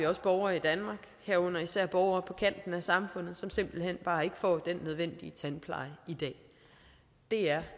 også borgere i danmark herunder især borgere på kanten af samfundet som simpelt hen bare ikke får den nødvendige tandpleje i dag det er